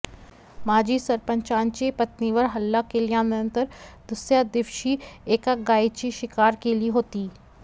माजी सरपंचांची पत्नीवर हल्ला केल्यानंतर दुसऱ्या दिवशी एका गायीची शिकार केली होती